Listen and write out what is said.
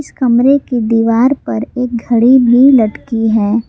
इस कमरे की दीवार पर एक घड़ी भी लटकी है।